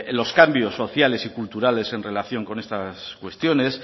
los cambios sociales y culturales en relación con estas cuestiones